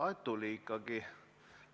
Aa, tuli ikkagi.